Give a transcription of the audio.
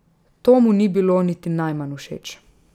To mu ni bilo niti najmanj všeč.